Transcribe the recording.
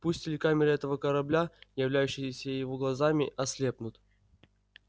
пусть телекамеры этого корабля являющиеся его глазами ослепнут